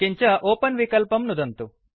किञ्च ओपेन विकल्पं नुदन्तु